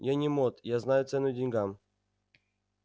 я не мот я знаю цену деньгам